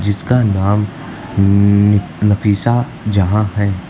जिसका नाम न नफीसा जहां है।